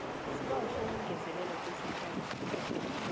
isibawo sokungezelelwa kwesikhathi